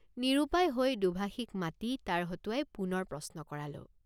নিৰুপায় হৈ দোভাষীক মাতি তাৰ হতুৱাই পুনৰ প্ৰশ্ন কৰালোঁ।